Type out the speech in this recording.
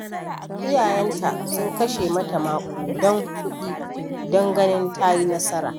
Iyayenta sun kashe mata maƙudan kuɗi don ganin ta yi nasara.